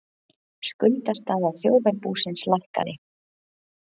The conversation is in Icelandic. Skuldastaða þjóðarbúsins lækkaði